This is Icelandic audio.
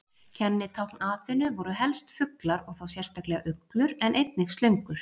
Kennitákn Aþenu voru helst fuglar og þá sérstaklega uglur, en einnig slöngur.